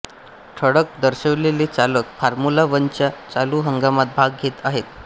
ठळक दर्शवलेले चालक फॉर्म्युला वनच्या चालु हंगामात भाग घेत आहेत